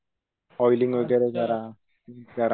oiling वगैरे जरा करा